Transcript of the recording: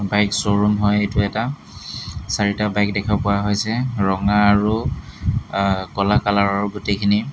Bike showroom হয় এইটো এটা চাৰিটা বাইক দেখা পোৱা হৈছে ৰঙা আৰু অ ক'লা কালাৰ ৰ গোটেইখিনি।